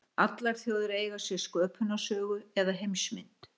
Allar þjóðir eiga sér sköpunarsögu eða heimsmynd.